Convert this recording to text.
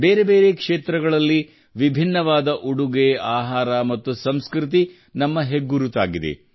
ಬೇರೆ ಬೇರೆ ಕ್ಷೇತ್ರಗಳಲ್ಲಿ ವಿಭಿನ್ನವಾದ ಉಡುಗೆ ಆಹಾರ ಮತ್ತು ಸಂಸ್ಕೃತಿ ನಮ್ಮ ಹೆಗ್ಗುರುತಾಗಿದೆ